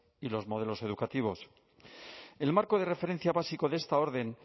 y los modelos educativos el marco de referencia básico de esta orden